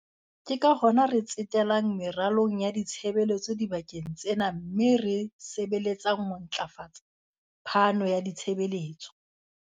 Ke ka hona re tsetelang meralong ya ditshebeletso dibakeng tsena mme re sebeletsang ho ntlafatsa phano ya ditshebeletso.